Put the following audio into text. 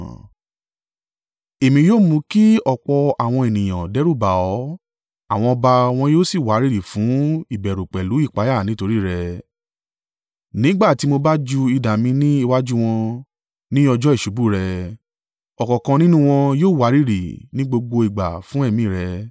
Èmi yóò mú kí ọ̀pọ̀ àwọn ènìyàn dẹ́rùbà ọ́, àwọn ọba wọn yóò sì wárìrì fún ìbẹ̀rù pẹ̀lú ìpayà nítorí rẹ, nígbà tí mo bá ju idà mi ní iwájú wọn. Ní ọjọ́ ìṣubú rẹ ọ̀kọ̀ọ̀kan nínú wọn yóò wárìrì ní gbogbo ìgbà fún ẹ̀mí rẹ.